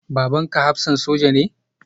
Babanka hafsan soja ne?